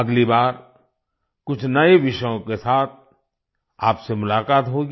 अगली बार कुछ नये विषयों के साथ आपसे मुलाकात होगी